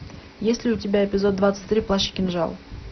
есть ли у тебя эпизод двадцать три плащ и кинжал